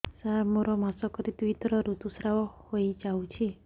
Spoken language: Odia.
ସାର ମୋର ମାସକରେ ଦୁଇଥର ଋତୁସ୍ରାବ ହୋଇଯାଉଛି